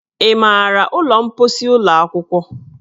Ị maara ụlọ mposi ụlọ akwụkwọ?